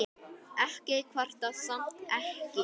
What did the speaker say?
Ég kvarta samt ekki.